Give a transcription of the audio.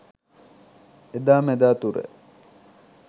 එදා මෙදා තුර